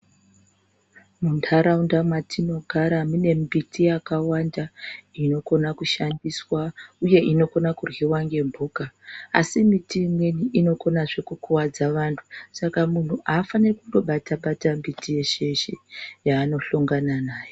Muntaraunda matinogara mune mbiti yakawanda inokona kushandiswa uye inokona karyiwa ngembuka. Asi miti imweni inokonazve kukuvadza vantu. Saka muntu haafaniri kundobata mbiti yeshe-yeshe yaanohlongana nayo.